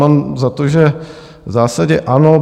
Mám za to, že v zásadě ano.